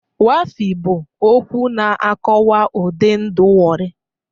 Waffi' bụ okwu na-akọwa ụdị ndụ Warri